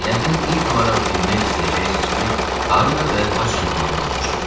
yəqin ilk olaraq bilmək istəyəcəksiniz ki, harda və haçan anadan olmuşam.